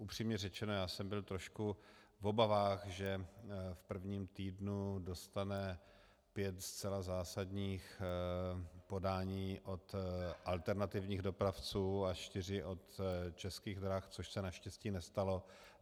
Upřímně řečeno, já jsem byl trošku v obavách, že v prvním týdnu dostane pět zcela zásadních podání od alternativních dopravců a čtyři od Českých drah, což se naštěstí nestalo.